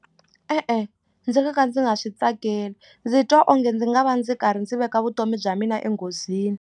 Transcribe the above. E-e ndzi nga ka ndzi nga swi tsakeli ndzi twa onge ndzi nga va ndzi karhi ndzi veka vutomi bya mina enghozini.